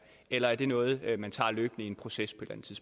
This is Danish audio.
eller er det noget man tager løbende i en proces